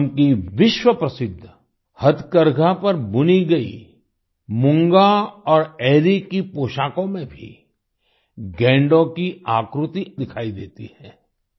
असम की विश्वप्रसिद्ध हथकरघा पर बुनी गई मूंगा और एरी की पोशाकों में भी गैंडो की आकृति दिखाई देती है